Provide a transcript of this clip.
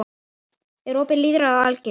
Er opið lýðræði algilt?